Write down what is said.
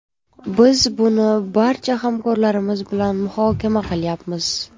Biz buni barcha hamkorlarimiz bilan muhokama qilyapmiz.